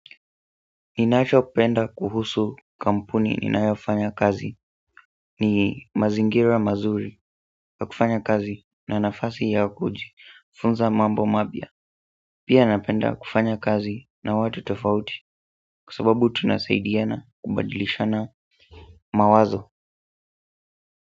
Ninachopenda kuhusu kampuni ninayofanya kazi ni mazingira mazuri ya kufanya kazi na nafasi ya kujifunza mambo mapya pia napenda kufanya kazi na watu tofauti kwa sababu tunasaidiana kubadilishana mawazo.